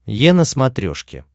е на смотрешке